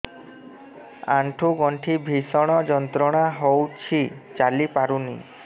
ଆଣ୍ଠୁ ଗଣ୍ଠି ଭିଷଣ ଯନ୍ତ୍ରଣା ହଉଛି ଚାଲି ପାରୁନି